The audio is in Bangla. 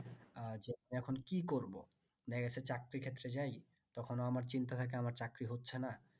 আচ্ছা এখন কি করবো দেখা গেছে চাকরির ক্ষেত্রে যায় তখন ও আমার চিন্তা থাকে আমার চাকরি হচ্ছে না